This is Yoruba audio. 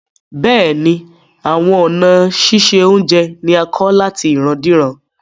Bẹ́ẹ̀ni, awọn ọ̀na sísẹ ọ̀unjẹ ni à kọ̀ látì ìràndíràn